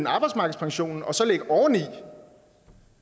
arbejdsmarkedspensionen og så lægge oveni og